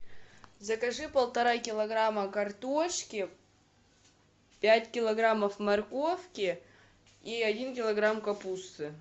закажи полтора килограмма картошки пять килограммов морковки и один килограмм капусты